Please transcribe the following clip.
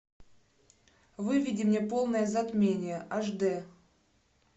выведи мне полное затмение аш дэ